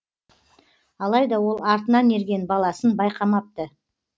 алайда ол артынан ерген баласын байқамапты